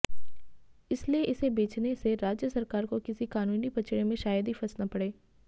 इसीलिए इसे बेचने से राज्य सरकार को किसी कानूनी पचड़े में शायद ही फंसना पड़े